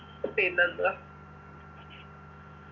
പിന്നെന്തുവാ